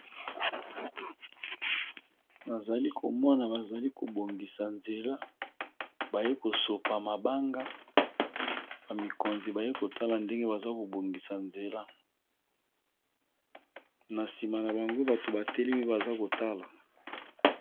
Nazali komona eza esika oyo bazali kobongisa balabala, tomoni na bakonzi baye kotala